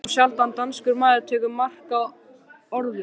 Þá sjaldan danskur maður tekur mark á orðum